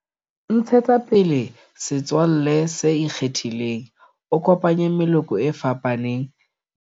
Ntshetsa pele setswalle se ikgethileng, o kopanye meloko e fapaneng, le